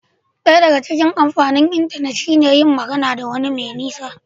Daya daga cikin amfanin intanet shi ne iya magana da wani mai nisa